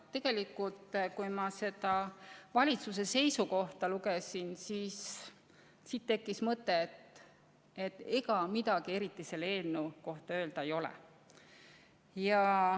Tegelikult, kui ma valitsuse seisukohta lugesin, siis tekkis mul mõte, et ega neil midagi eriti selle eelnõu kohta öelda ei ole.